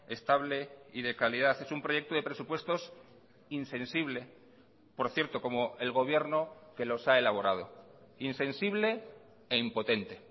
estable y de calidad es un proyecto de presupuestos insensible por cierto como el gobierno que los ha elaborado insensible e impotente